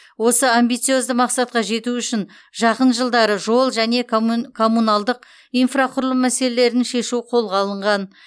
осы амбициозды мақсатқа жету үшін жақын жылдары жол және коммуналдық инфрақұрылым мәселелерін шешу қолға алынған